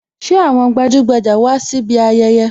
Ṣé àwọn gbajugbaja wá síbi ayẹyẹ?